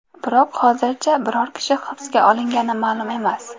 Biroq hozircha biror kishi hibsga olingani ma’lum emas.